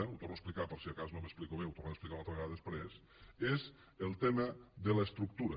ho torno a explicar per si de cas no m’explico bé i ho tornaré a explicar una altra vegada després és el tema de l’estructura